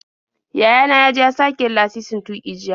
Yaya na ya je ya sake yin lasisin tuƙi jiya.